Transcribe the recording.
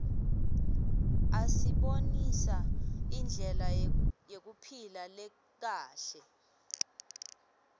asibonisa indlela yekuphila lekahle